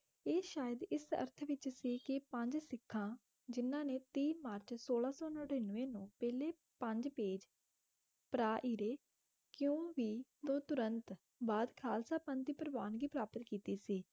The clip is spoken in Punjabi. ਇਹ ਸ਼ਾਇਦ ਇਸ ਅਰਥ ਵਿੱਚ ਸੀ ਕਿ ਪੰਜ ਸਿੱਖਾਂ ਜਿਨ੍ਹਾਂ ਨੇ ਤੀਹ ਮਾਰਚ ਸੋਲਾਂ ਸੌ ਨੜ੍ਹਿਨਵੇਂ ਨੂੰ ਪਹਿਲੇ ਪੰਜ ਪੇਜ ਪਰਾਇਰੇ ਕਿਉਂ ਵੀ ਤੋਂ ਤੁਰੰਤ ਬਾਅਦ ਖ਼ਾਲਸਾ ਪੰਥ ਦੀ ਪ੍ਰਵਾਨਗੀ ਪ੍ਰਾਪਤ ਕੀਤੀ ਸੀ,